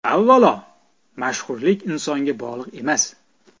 Avvalo, mashhurlik insonga bog‘liq emas.